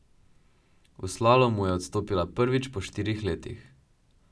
V slalomu je odstopila prvič po štirih letih.